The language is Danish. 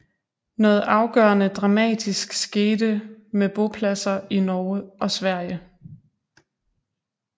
Noget afgørende dramatisk skete med bopladser i Norge og Sverige